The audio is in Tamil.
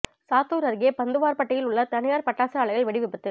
சாத்தூர் அருகே பந்துவார்பட்டியில் உள்ள தனியார் பட்டாசு ஆலையில் வெடி விபத்து